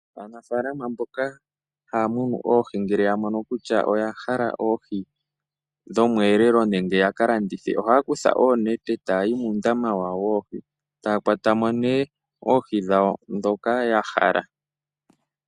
Aanafaalama mboka haya munu oohi ngele ya mono kutya oya hala oohi dhomweelelo nenge yaka landithe, ohaya kutha oonete taya yi muundama wawo woohi, taya kwata mo nee oohi dhawo ndhoka ya hala.